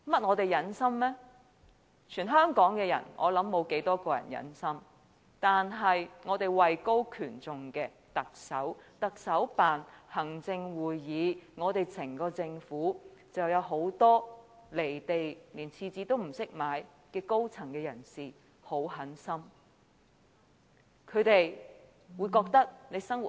我想全港沒有多少人會如此忍心，但我們位高權重的特首、特首辦、行政會議和整個政府也有很多"離地"、連廁紙也不懂買的高層人士非常狠心。